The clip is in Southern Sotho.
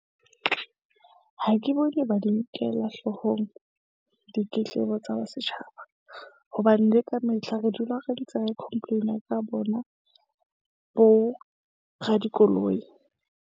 Ha ke bone ba di nkella hloohong ditletlebo tsa setjhaba, hobane le ka metlha re dula re ntse re complain-a ka bona bo radikoloi.